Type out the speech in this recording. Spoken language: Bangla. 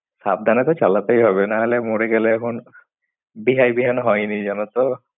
সাবধানে তো চালাতেই হবে নাহলে মরে গেলে এখন বেহ্যায় বিহান হয়নি জানো তো।